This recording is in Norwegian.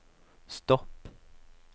stopp